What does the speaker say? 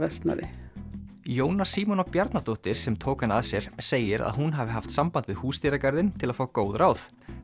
Jóna Bjarnadóttir sem tók hann að sér segir að hún hafi haft samband við húsdýragarðinn til að fá góð ráð